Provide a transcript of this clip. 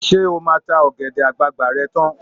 Ṣé o máa ta ọ̀gẹ̀dẹ̀ àgbààgbà rẹ tán?